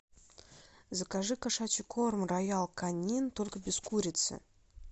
закажи кошачий корм роял конин только без курицы